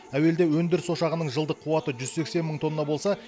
әуелде өндіріс ошағының жылдық қуаты жүз сексен мың тонна болса